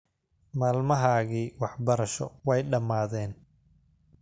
Maalmahagi waxbarasho way dhammaadeen